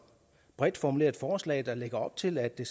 bredt formuleret forslag der lægger op til at det